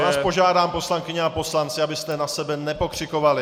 Já vás požádám, poslankyně a poslanci, abyste na sebe nepokřikovali!